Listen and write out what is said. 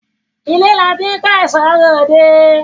Ile la ti n ko eso re ode